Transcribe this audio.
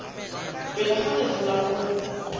pele ga letlha la go